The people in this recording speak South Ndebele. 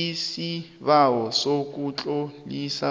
isibawo sokutlolisa